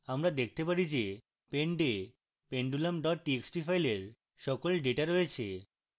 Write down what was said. আমরা দেখতে পারি যে pend we pendulum txt file সকল ডেটা রয়েছে